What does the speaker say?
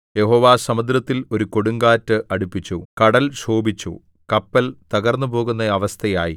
യഹോവ സമുദ്രത്തിൽ ഒരു കൊടുങ്കാറ്റ് അടിപ്പിച്ചു കടൽ ക്ഷോഭിച്ചു കപ്പൽ തകർന്നുപോകുന്ന അവസ്ഥയായി